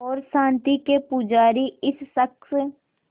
और शांति के पुजारी इस शख़्स